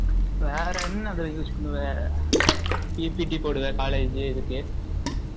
வேற என்ன இதுல use பண்ணுவ? PPT போடுவ college இதுக்கு